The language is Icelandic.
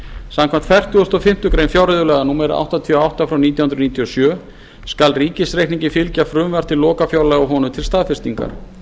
samkvæmt fertugustu og fimmtu grein fjárreiðulaga númer áttatíu og átta nítján hundruð níutíu og sjö skal ríkisreikningi fylgja frumvarp til lokafjárlaga honum til staðfestingar